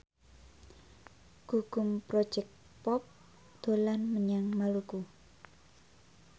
Gugum Project Pop dolan menyang Maluku